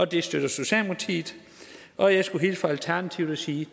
det støtter socialdemokratiet og jeg skulle hilse fra alternativet og sige